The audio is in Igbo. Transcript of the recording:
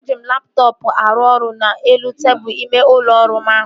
Eji m laptọọpụ m aru ọrụ n'elu tebụl ime ụlọ ọrụ m ahụ